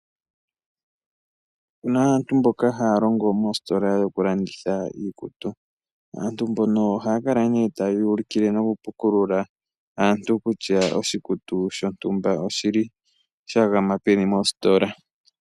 Opuna aantu mboka haya longo moositola dhoku landitha iikutu. Aantu mbono ohaya kala nee taya ulikile noku pukulula aantu, kutya oshikutu shontumba oshi li shagama peni mositola.